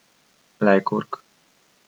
Lajkurg.